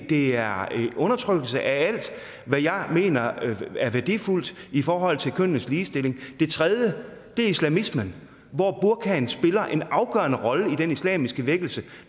det er en undertrykkelse af alt hvad jeg mener er værdifuldt i forhold til kønnenes ligestilling det tredje er islamismen hvor burkaen spiller en afgørende rolle i den islamiske vækkelse